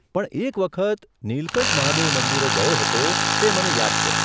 પણ એક વખત નીલકંઠ મહાદેવ મંદિરે ગયો હતો તે મને યાદ છે.